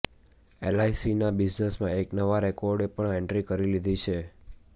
એલઆઈસીના બિઝનેસમાં એક નવા રેકોર્ડે પણ એન્ટ્રી કરી લીધી છે